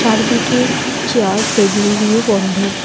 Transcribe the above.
চারদিকে chair table দিয়ে বন্ধ।